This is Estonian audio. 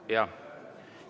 Jah.